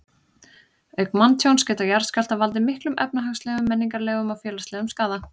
Auk manntjóns geta jarðskjálftar valdið miklum efnahagslegum, menningarlegum og félagslegum skaða.